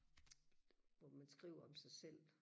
hvor man skriver om sig selv